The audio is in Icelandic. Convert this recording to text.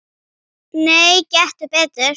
Nei, gettu betur